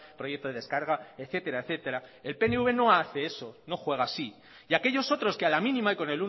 proyecto de descarga etcétera etcétera el pnv no hace eso no juega así y aquellos otros que a la mínima y con